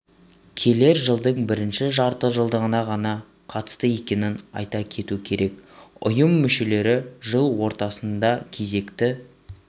келер жылдың бірінші жартыжылдығына ғана қатысты екенін айта кету керек ұйым мүшелері жыл ортасында кезекті